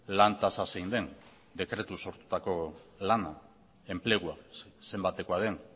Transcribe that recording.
lan tasa zein den dekretuz sortutako lana enplegua zenbatekoa den